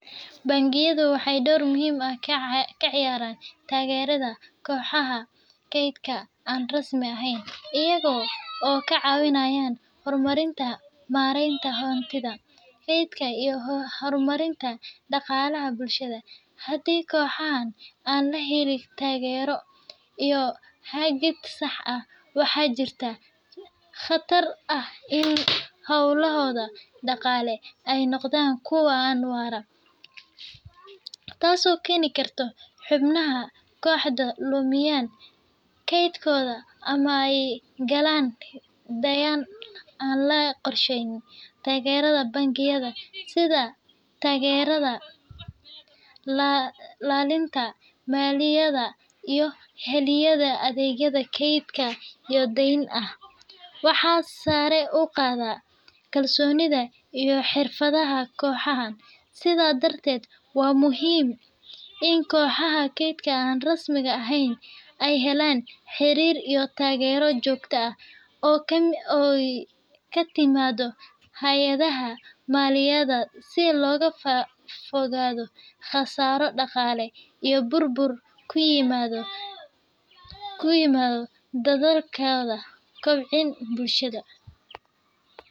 Bengiyadu waxay door muhiim ah ka ciyaaraan taageeridda kooxaha kaydka aan rasmi ahayn iyaga oo ka caawinaya horumarinta maareynta hantida, kaydka, iyo horumarinta dhaqaalaha bulshada. Haddii kooxahan aan la helin taageero iyo hagid sax ah, waxaa jirta khatar ah in hawlahooda dhaqaale ay noqdaan kuwo aan waara, taasoo keeni karta in xubnaha kooxdu lumiyaan kaydkooda ama ay galaan deyn aan la qorsheyn. Taageerada bangiyada – sida tababarrada, la-talinta maaliyadeed, iyo helidda adeegyo kaydin iyo deyn ah – waxay sare u qaadaa kalsoonida iyo xirfadda kooxahan. Sidaas darteed, waa muhiim in kooxaha kaydka aan rasmi ahayn ay helaan xiriir iyo taageero joogto ah oo ka timaadda hay'adaha maaliyadeed si looga fogaado khasaaro dhaqaale iyo burbur ku yimaada dadaalkooda kobcin bulsho.